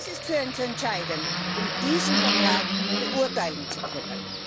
Das ist für uns entscheidend, um diesen Vertrag beurteilen zu können.